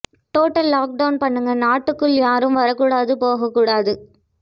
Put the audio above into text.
total lockdown பண்ணுங்க நாட்டிற்க்குள் யாரும் வர கூடாது போக கூடாது